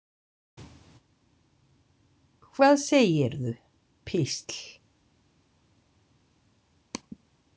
Hvað segirðu, písl?